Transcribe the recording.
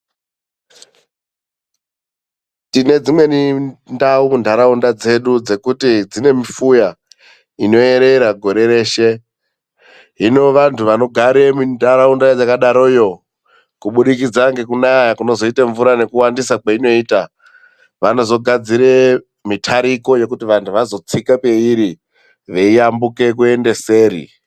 Tine dzimweni ndau mundaraunda dzedu dzekuti dzine mifuya inoerera gore reshe. Hino vanhu vanogare mundaraunda yakadaroyo kubudiridza ngekunaya kunozoita mvura ngekuwandisa kwainoita vanozogadzira mitariko yekuti vanhu vanozotsika peiri veiyambuka kuenda seri.